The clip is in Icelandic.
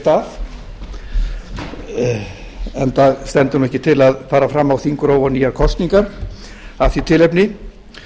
í stað enda stendur ekki til að fara fram á þingrof og nýjar kosningar af því tilefni